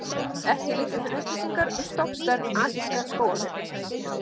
Ekki liggja fyrir upplýsingar um stofnstærð asíska skógarbjarnarins.